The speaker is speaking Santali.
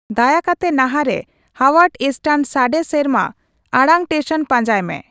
ᱫᱟᱭᱟ ᱠᱟᱛᱮ ᱱᱟᱦᱟᱨᱮ ᱦᱟᱣᱣᱟᱨᱰ ᱮᱥᱴᱟᱱ ᱥᱟᱰᱮ ᱥᱮᱨᱢᱟ ᱟᱲᱟᱝ ᱴᱮᱥᱚᱱ ᱯᱟᱸᱡᱟᱭ ᱢᱮ